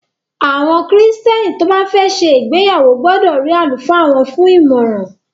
Àwọn Kristẹni tó bá fẹ́ ṣe ìgbéyàwó gbọdọ̀ rí àlùfáà wọ́n fún ìmọràn.